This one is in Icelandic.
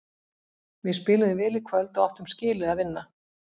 Við spiluðum vel í kvöld og áttum skilið að vinna.